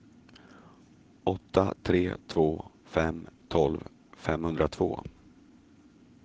åtta tre två fem tolv femhundratvå